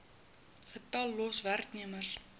getal los werknemers